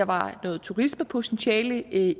var noget turismepotentiale i